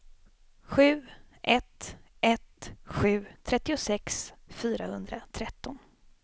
sju ett ett sju trettiosex fyrahundratretton